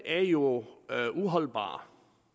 er jo uholdbart